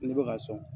Ne bɛ ka sɔn